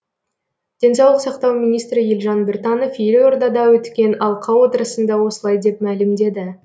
денсаулық сақтау министрі елжан біртанов елордада өткен алқа отырысында осылай деп мәлімдеді